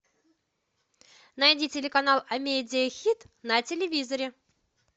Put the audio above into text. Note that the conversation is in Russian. найди телеканал амедия хит на телевизоре